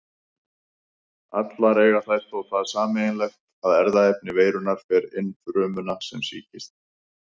Allar eiga þær þó það sameiginlegt að erfðaefni veirunnar fer inn frumuna sem sýkist.